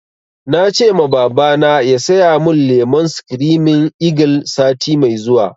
Na ce ma babana ya saya mun lemon screaming eagle sati mai zuwa